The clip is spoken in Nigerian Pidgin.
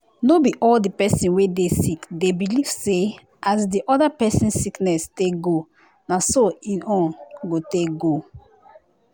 no be all di pesin wey dey sick dey believe say as di other pesin sickness take go na so em own go take go.